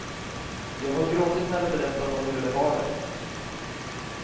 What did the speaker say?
Jag har gråtit när de berättat om hur de har det.